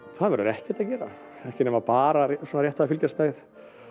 það verður ekkert að gera ekki nema bara svona rétt til að fylgjast með